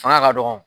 Fanga ka dɔgɔ